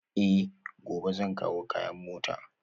Eh, gobe zan kawo kayan a mota